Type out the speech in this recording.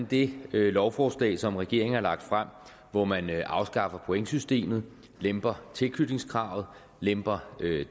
det lovforslag som regeringen har lagt frem hvor man man afskaffer pointsystemet lemper tilknytningskravet lemper